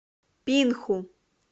пинху